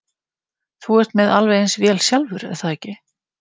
Þú ert með alveg eins vél sjálfur, er það ekki?